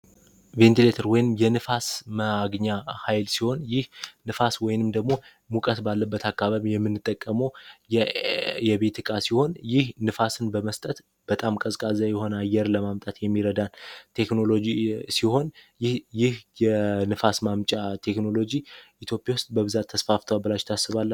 ቬንቲሌተር የንፋስ ማግኛ ኃይል ሲሆን፤ ይህ ንፋስ ወይንም ደግሞ ሙቀት ባለበት አካባቢ የምንጠቀመው የቤት ዕቃ ሲሆን ይህ ንፋስን በመስጠት በጣም ቀዝቃዛ የሆነ አየርን ለማምጣት የሚረዳን ቴክኖሎጂ ሲሆን ይህ የንፋስ ማምጫ ቴክኖሎጂ ኢትዮጵያ ውስጥ በብዛት ተስፋፍቷል ብላችሁ ታስባላቺሁ?